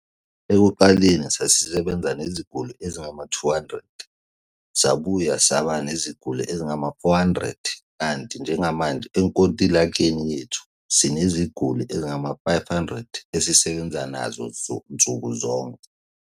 Ekuqaleni sasisebenza neziguli ezingama-200, sabuye saba neziguli ezingama-400, kanti njengamanje enkontilekeni yethu sineziguli ezingama-500, esisebenza nazo nsuku zonke.